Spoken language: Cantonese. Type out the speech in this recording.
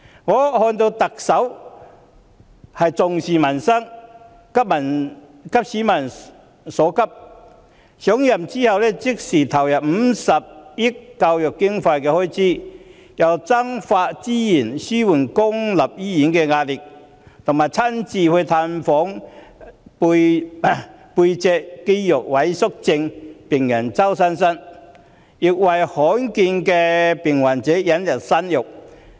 我看到特首重視民生，急市民所急，上任後隨即投入50億元增加教育經常開支，增撥資源紓緩公立醫院的壓力，又親自探訪脊髓肌肉萎縮症病人周佩珊，並為罕見病患者引入新藥。